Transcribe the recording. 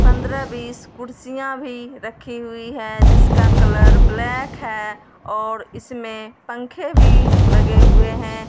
पंद्रह बीस कुर्सियां भी रखी हुई है जिसका कलर ब्लैक है और इसमें पंखे भी लगे हुए हैं।